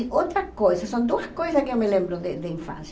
E outras coisas, são duas coisas que eu me lembro de de infância.